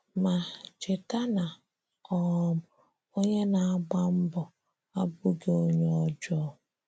Ma, cheta na um onye na-agba mbo abụghị onye ọjọọ.